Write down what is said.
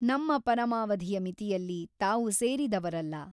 ನಮ್ಮ ಪರಮಾವಧಿಯ ಮಿತಿಯಲ್ಲಿ ತಾವು ಸೇರಿದವರಲ್ಲ.